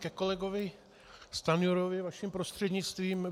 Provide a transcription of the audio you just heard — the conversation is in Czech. Ke kolegovi Stanjurovi vaším prostřednictvím.